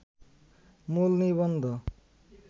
মূল নিবন্ধ